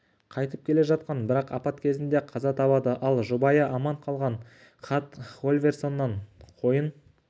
қайтып келе жатқан бірақ апат кезінде қаза табады ал жұбайы аман қалған хат хольверсонның қойын